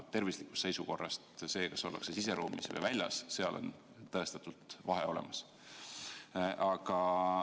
Aga tervise seisukohast, kas ollakse siseruumides või väljas, seal on tõestatult vahe olemas.